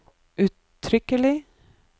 uttrykkelig